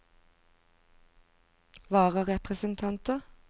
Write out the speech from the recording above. vararepresentanter